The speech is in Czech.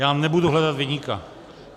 Já nebudu hledat viníka.